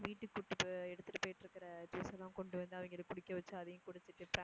வீட்டுக்கு கூப்பிட்~எடுத்துட்டு போய்ட்டுருக்குற juice அ எல்லாம் கொண்டு வந்து அவங்கள குடிக்க வச்சி அதையும் குடுத்துட்டு